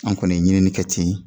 An kɔni ye ɲinini kɛ ten